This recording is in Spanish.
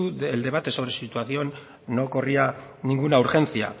el debate sobre su situación no corría ninguna urgencia